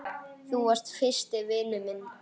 Þú varst fyrsti vinur minn.